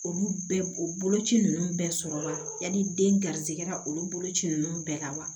Olu bɛɛ o boloci ninnu bɛɛ sɔrɔ la yani den garisigɛra olu boloci ninnu bɛɛ la wa